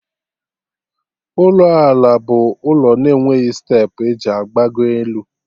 Ụlọ ala bụ ụlọ na-enweghị steepụ eji agbago elu